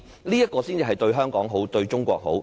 這樣才是對香港好，對中國好。